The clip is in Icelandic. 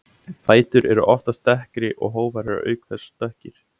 Fætur eru oftast dekkri og hófar eru auk þess dökkir.